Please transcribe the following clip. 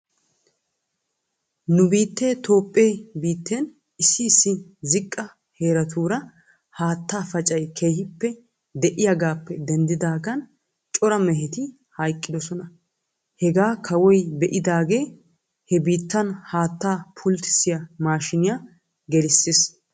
Nu biitee toophphee biitten issi issi ziqqihaa heeratuura haataa pacay keehippe de'iyaagaappe denddidaagan cora meheti hayqqidosona. Hegaa kawoy be'idaagee he biittan haattaa pulttissiyaa maashshiiniyaa gelissis.